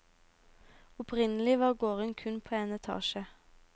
Opprinnelig var gården kun på en etasje.